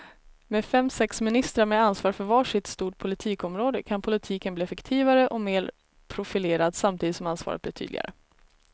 Med fem, sex ministrar med ansvar för var sitt stort politikområde kan politiken bli effektivare och mer profilerad samtidigt som ansvaret blir tydligare.